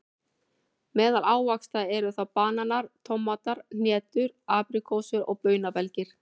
Meðal ávaxta eru þá bananar, tómatar, hnetur, apríkósur og baunabelgir.